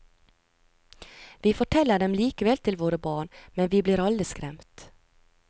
Vi forteller dem likevel til våre barn, men vi blir alle skremt.